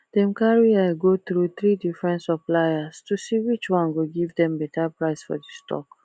dem carry eye go through three different suppliers to see which one go give dem better price for the stock